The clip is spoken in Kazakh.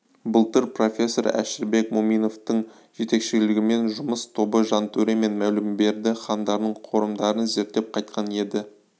былтыр профессор әшірбек мүминовтің жетекшілігімен жұмыс тобы жантөре мен мәулімберді хандарының қорымдарын зерттеп қайтқан еді